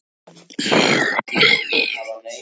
Álafossúlpunum, hettumunkana svonefndu, sem yrðlinga þeirra.